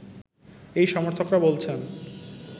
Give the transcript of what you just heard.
এই সমর্থকরা বলছেন